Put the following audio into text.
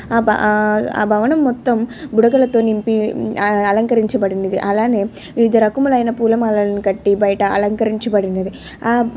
ఆ భవనం మొత్తం బుడకల్తో నింపి అలంకరించి బడినది. వివిధ రకములైన పూలమాలను కట్టి అలంకరించిబండింది .